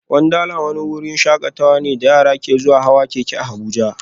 Wundarlandi wani wurin shakatawa ne da yara ke zuwa hawan keke a Abuja